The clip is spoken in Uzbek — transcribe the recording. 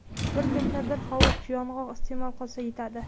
Bir kunda bir hovuch yong‘oq iste’mol qilsa yetadi.